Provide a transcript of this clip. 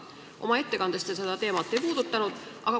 Oma ettekandes te seda teemat ei puudutanud.